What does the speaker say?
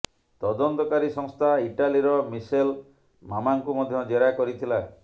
ତଦନ୍ତକାରୀ ସଂସ୍ଥା ଇଟାଲୀର ମିସେଲ ମାମାକୁ ମଧ୍ୟ ଜେରା କରିଥିଲା